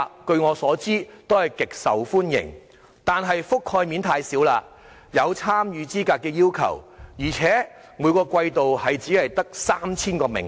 據我所知，計劃極受歡迎，但覆蓋面太少，亦有參與資格的要求，而且每個季度只有 3,000 個名額。